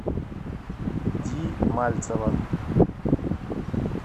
ди мальцева